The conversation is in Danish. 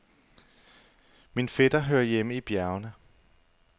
Min fætter hører hjemme i bjergene.